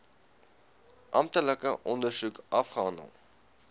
amptelike ondersoek afgehandel